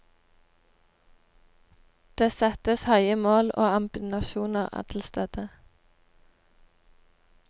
Det settes høye mål og ambisjonene er til stede.